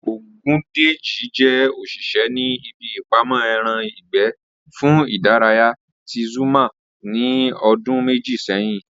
Ògúndèjì jẹ́ òṣìṣẹ́ ní ibi ìpamọ́ ẹran ìgbẹ́ fún ìdárayá ti Zúgúrmà ní ọdún méjì sẹ́yìn